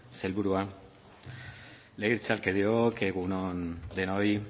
sailburua legebiltzarkideok egun on denoi